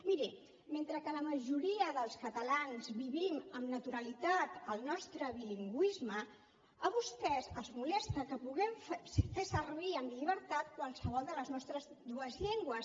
miri mentre que la majoria dels catalans vivim amb naturalitat el nostre bilingüisme a vostès els molesta que puguem fer servir amb llibertat qualsevol de les nostres dues llengües